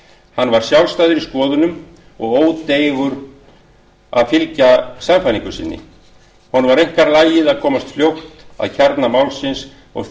hann var sjálfstæður í skoðunum og ódeigur að fylgja sannfæringu sinni honum var einkar lagið að komast fljótt að kjarna máls og